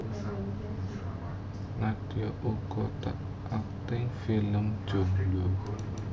Nadia uga tau akting film film Jomblo